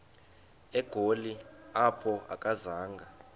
egoli apho akazanga